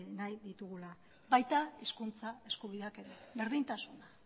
nahi ditugula baita hizkuntza eskubideak ere berdintasuna